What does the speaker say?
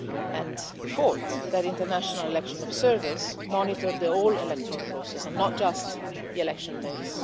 And fourth, that international election observers monitor the whole electoral process and not just the election days.